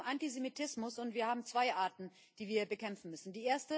Es geht um Antisemitismus, und wir haben zwei Arten, die wir bekämpfen müssen.